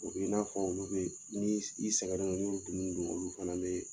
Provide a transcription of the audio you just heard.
O b'i n'a fɔ olu bɛ ni i sɛgɛnna n'i y'olu dumuniw dun olu fana bɛ